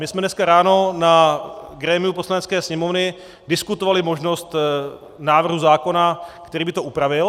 My jsme dneska ráno na grémiu Poslanecké sněmovny diskutovali možnost návrhu zákona, který by to upravil.